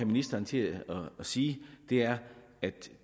ministeren til at sige er at